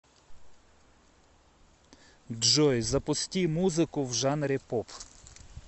джой запусти музыку в жанре поп